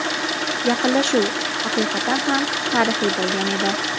Yaqinlashuv haqiqatan ham tarixiy bo‘lgan edi.